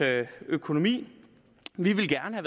økonomi vi ville gerne